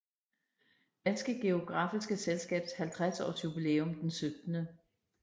Danske Geografiske Selskabs 50 Aars Jubilæum den 17